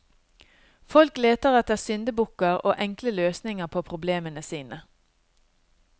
Folk leter etter syndebukker og enkle løsninger på problemene sine.